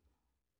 DR1